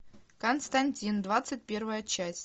константин двадцать первая часть